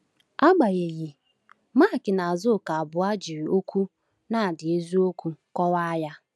Agbanyeghị, Mark na Azuka abụọ jiri okwu “nard eziokwu” kọwaa ya.